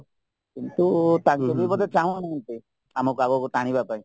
କିନ୍ତୁ ତାଙ୍କେ ବି ବୋଧେ ଚାଁହୁନାହାନ୍ତି ଆମ ପାଖକୁ ଟାଣିବା ପାଇଁ